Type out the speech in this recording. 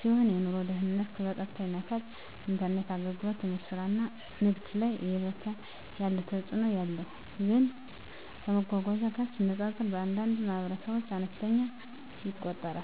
ሲሆን የኑሮ ደህንነትን በቀጥታ ይነካል። የኢንተርኔት አገልግሎት ትምህርት፣ ስራ እና ንግድ ላይ እየበረታ ያለ ተፅእኖ አለው፣ ግን ከመጓጓዣ ጋር ሲነጻጸር በአንዳንድ ማኅበረሰቦች አነስተኛ ይቆጠራል።